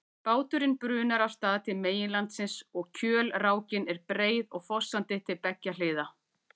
Báturinn brunar af stað til meginlandsins og kjölrákin er breið og fossandi til beggja hliða.